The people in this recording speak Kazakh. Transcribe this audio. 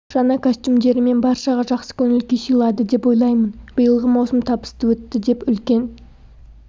жаңа костюмдерімен баршаға жақсы көңіл күй сыйлады деп ойлаймын биылғы маусым табысты өтті деп үлкен